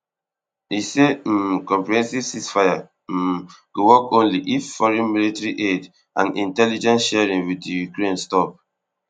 e say um comprehensive ceasefire um go only work if foreign military aid and intelligence sharing wit ukraine stop